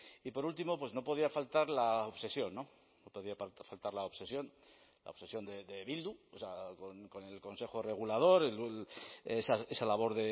y por último pues no podía faltar la obsesión no podía faltar la obsesión la obsesión de bildu con el consejo regulador esa labor